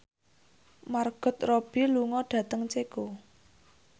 Margot Robbie lunga dhateng Ceko